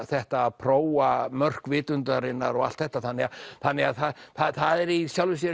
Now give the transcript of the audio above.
þetta að prófa mörk vitundarinnar og allt þetta þannig að þannig að það er í sjálfu sér